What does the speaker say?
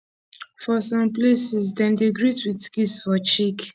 for some places dem dey greet with kiss for cheek